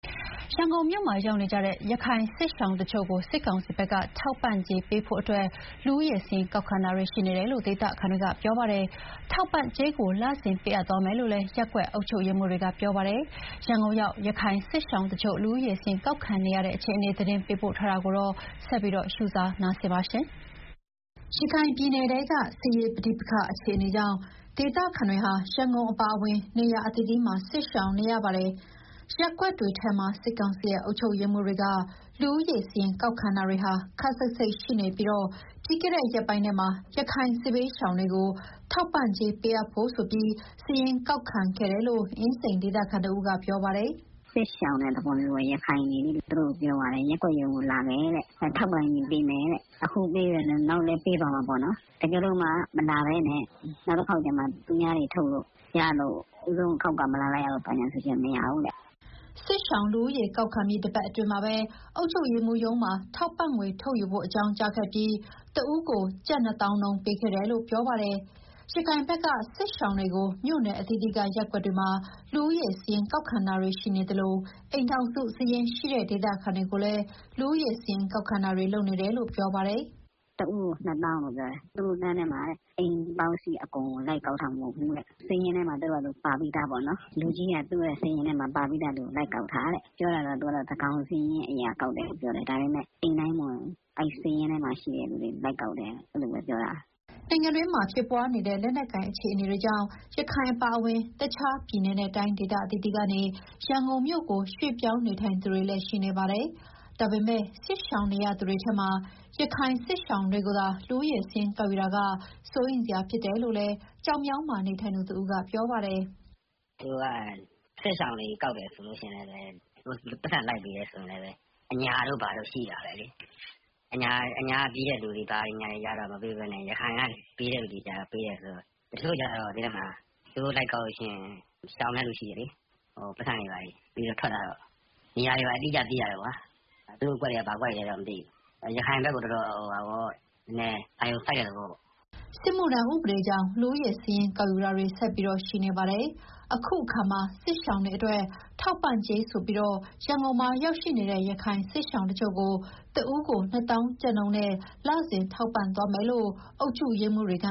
ရန်ကုန်မြို့မှာ ရောက်ရှိနေတဲ့ ရခိုင်စစ်ရှောင်တချို့ကို စစ်ကောင်စီဘက်က ထောက်ပံ့ကြေးပေးဖို့အတွက် လူဦးရေစာရင်း ကောက်ခံတာတွေ ရှိနေတယ်လို့ ဒေသခံတွေက ပြောပါတယ်။ ထောက်ပံ့ ကြေးကို လစဉ်ပေးအပ်သွားမယ်လို့လည်း ရပ်ကွက်အုပ်ချုပ်ရေးမှူးတွေက ပြောပါတယ်။ ရန်ကုန်ရောက် ရခိုင်စစ်ရှောင်တချို့ လူဦးရေစာရင်း ကောက်ခံနေရတဲ့အခြေအနေ သတင်းပေးပို့ထားပါတယ်။ ရခိုင်ပြည်နယ်ထဲက စစ်ရေးပဋိပက္ခ အခြေအနေကြောင့် ဒေသခံတွေဟာ ရန်ကုန်အပါအဝင် နေရာအသီးသီးမှာ စစ်ရှောင်နေရတာပါ။ ရပ်ကွက်တွေထဲမှာ စစ်ကောင်စီရဲ့ အုပ်ချုပ်ရေးမှူးတွေက လူဦးရေစာရင်း ကောက်ခံတာတွေ ခပ်စိပ်စိပ်ရှိနေပြီး ပြီးခဲ့တဲ့ ရက်ပိုင်းထဲမှာ ရခိုင်စစ်ဘေးရှောင်တွေကို ထောက်ပံ့ကြေး ပေးအပ်ဖို့ဆိုပြီး စာရင်းကောက်ခံခဲ့တယ်လို့ အင်းစိန်ဒေသခံတဦးက ပြောပါတယ်။ "စစ်ရှောင်တဲ့သဘောမျိုးပေါ့၊ ရခိုင်တွေလေ။ သူတို့ကို ရပ်ကွက်ရုံးလာဖို့ ပြောသွားတယ်။ ထောက်ပံ့ကြေး ပေးမယ်တဲ့။ အခုပေးမယ်၊ နောက်လည်း ပေးသွားမယ်ပေါ့နော်။ တကယ်လို့ အခုတခေါက်မလာဘဲ နောက်တခေါက်ကျမှ သူများတွေထုတ်လို့ရမှ ဦးဆုံးအခေါက်က မလာလိုက်ရလို့ဆိုရင် မရဘူးတဲ့။" စစ်ရှောင်လူဦးရေ ကောက်ခံပြီး တပတ်အတွင်းမှာပဲ အုပ်ချုပ်ရေးမှူးရုံးမှာ ထောက်ပံ့ငွေထုတ်ယူဖို့ အကြောင်းကြားခဲ့ပြီး၊ တဦးကို ကျပ် ၂၀,၀၀၀ နှုန်း ပေးခဲ့တယ်လို့ ပြောပါတယ်။ ရခိုင်ဘက်က စစ်ရှောင်တွေကို မြို့နယ်အသီးသီးက ရပ်ကွက်တွေမှာ လူဦးရေစာရင်း ကောက်ခံတာရှိနေသလို အိမ်ထောင်စုစာရင်းရှိတဲ့ ဒေသခံတွေကိုလည်း လူဦးရေစာရင်း ကောက်ခံတာတွေ လုပ်နေတယ်လို့ ပြောပါတယ်။ "တဦးကို ၂၀,၀၀၀ ရတယ်။ နောက်ထပ်လမ်းထဲမှာလည်း လူဦးရေစာရင်း လိုက်ကောက်တာ အိမ်တိုင်းကို လိုက်ကောက်တာ မဟုတ်ဘူးတဲ့။ လူကြီးက သူတို့စာရင်းထဲမှာ ပါပြီးသားလူကို လိုက်ကောက်တာတဲ့။ သူကတော့ သန်းခေါင်စာရင်းအရ ကောက်တယ်လို့ပြောတယ်။ ဒါပေမဲ့ အိမ်တိုင်းမဝင်ဘူး။ အဲဒီစာရင်းထဲမှာ ရှိတဲ့လူတွေကိုပဲ လိုက်ကောက်တယ်။" နိုင်ငံအတွင်းမှာ ဖြစ်ပွားနေတဲ့ လက်နက်ကိုင် အခြေအနေတွေကြောင့် ရခိုင်အပါအဝင် တခြားပြည်နယ်နဲ့ တိုင်းဒေသ အသီးသီးကနေ ရန်ကုန်မြို့ကို ရွှေ့ပြောင်းနေထိုင်သူတွေလည်း ရှိနေပါတယ်။ ဒါပေမဲ့ စစ်ရှောင်နေရသူတွေထဲမှာ ရခိုင်စစ်ရှောင်တွေကိုသာ လူဦးရေစာရင်း ကောက်ယူတာက စိုးရိမ်စရာဖြစ်တယ်လို့လည်း ကျောက်မြောင်းမှာ နေထိုင်သူတဦးက ပြောပါတယ်။ "သူတို့က စစ်ရှောင်စာရင်းကောက်ပြီး ပိုက်ဆံပေးတယ်ဆိုရင် အညာတို့ဘာတို့ ရှိတာပဲလေ။ အညာကပြေးတဲ့ လူတွေကျတော့ မပေးဘဲနဲ့ ရခိုင်ကိုပဲ ပေးတယ်ဆိုတော့။ တချို့တွေကျတော့ သိတယ်မလား။ သူတို့လိုက်ကောက်ရင် ရှောင်တဲ့လူရှိတယ်လေ။ ပိုက်ဆံပေးတဲ့အခါ ထွက်လာတော့ နေရာအတိအကျ သိရတာပေါ့။ သူတို့အကွက်တွေက ဘာအကွက်တွေလဲတော့ မသိဘူး။ ရခိုင်ဘက်ကို အာရုံစိုက်တဲ့သဘောပေါ့။" စစ်မှုထမ်းဥပဒေကြောင့် လူဦးရေစာရင်း ကောက်ယူတာတွေကလည်း ဆက်ပြီးရှိနေပါတယ်။ အခုတခါမှာ စစ်ရှောင်တွေအတွက် ထောက်ပံ့ကြေးဆိုပြီး ရန်ကုန်မှာရောက်ရှိနေတဲ့ ရခိုင်စစ်ရှောင်တချို့ကို တဦးကို ၂၀,၀၀၀ နှုန်းနဲ့ လစဉ်ထောက်ပံ့သွားမယ်လို့ အုပ်ချုပ်ရေးမှူးတွေက